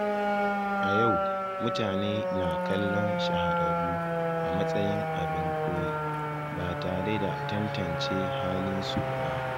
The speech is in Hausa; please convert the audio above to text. A yau, mutane na kallon shahararru a matsayin abin koyi, ba tare da tantance halinsu ba.